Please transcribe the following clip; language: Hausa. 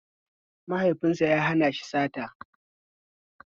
Mahaifinsa ya hana shi sata